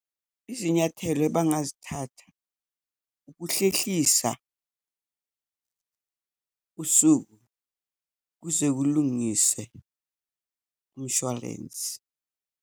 Izinyathelo abangazithatha, ukuhlehlisa usuku, kuze kulungiswe umshwarensi.